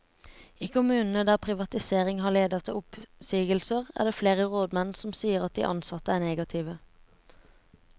I kommunene der privatisering har ledet til oppsigelser, er det flere rådmenn som sier at de ansatte er negative.